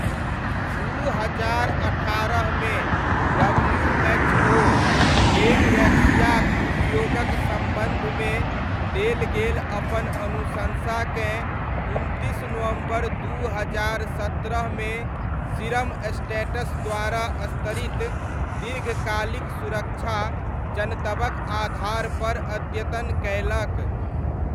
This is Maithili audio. दू हजार अट्ठारहमे डब्ल्यूएचओ डेङ्गवैक्सियाक उपयोगक सम्बन्धमे देल गेल अपन अनुशंसाकेँ उनतीस नवम्बर दू हजार सत्रहमे सीरमस्टैटस द्वारा स्तरित दीर्घकालिक सुरक्षा जनतबक आधारपर अद्यतन कयलक।